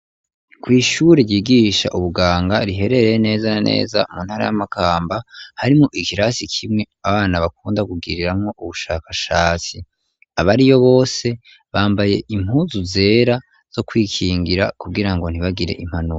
Kw'ishure ryigisha ubuganga riherereye neza naneza mu ntara y'amakamba harimo ikirasi kimwe abana bakunda kubgiriramwo ubushakashatsi abariyo bose bambaye impunzu zera zo kwikingira kubgira ngo ntibagire impanuka.